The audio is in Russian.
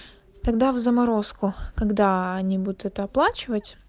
тогда в заморозку когда они будут это оплачивать